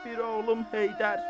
Bir oğlum Heydər.